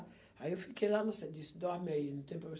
Aí eu fiquei lá, disse, dorme aí, não tem